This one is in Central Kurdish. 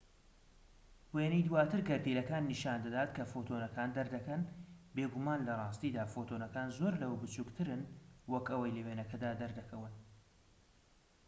وێنەی دواتر گەردیلەکان نیشان دەدات کە فۆتۆنەکان دەردەکەن بێگومان لە ڕاستیدا فۆتۆنەکان زۆر لەوە بچووکترن وەک ئەوەی لە وێنەکەدا دەردەکەون